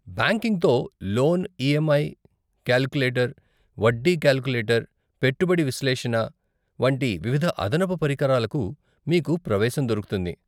బ్యాంకింగ్తో loan EMI calculator, వడ్డీ calculator, పెట్టుబడి విశ్లేషణ వంటి వివిధ అదనపు పరికరాలకు మీకు ప్రవేశం దొరుకుతుంది.